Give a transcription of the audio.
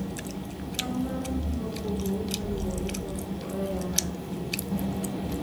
chal mar ngima opogore kaluwore kod oreya mar thieth